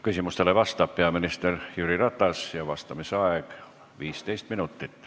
Küsimustele vastab peaminister Jüri Ratas ja vastamise aeg on 15 minutit.